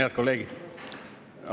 Head kolleegid!